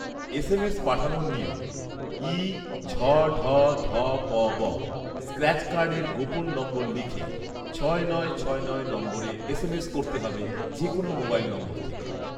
SMS পাঠানোর নিয়ম, ই ঝঢধপব স্ক্র্যাচ কার্ডের গোপন নম্বর লিখে ছয় নয় ছয় নয় নম্বরে এসএমএস করতে হবে যেকোনো মোবাইল নম্বর থেকে